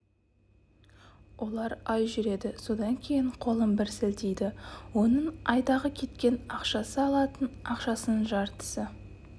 олар ай жүреді содан кейін қолын бір сілтейді оның айдағы кеткен ақшасы алатын ақшасының жартысы